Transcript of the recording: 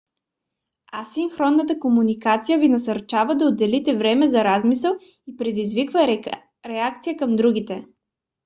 асинхронната комуникация ви насърчава да отделите време за размисъл и предизвиква реакция към другите